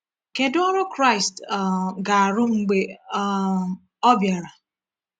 Kedu ọrụ Kraịst um ga-arụ mgbe um Ọ bịara?